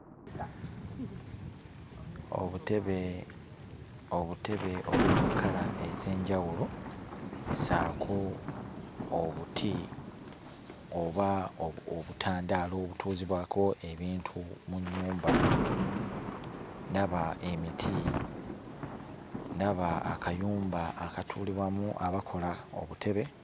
Obutebe obutebe obuli mu kkala ez'enjawulo, ssaako obuti oba obutandaalo obutuuzibwako ebintu mu nnyumba, ndaba emiti, ndaba akayumba akatuulibwamu abakola obutebe...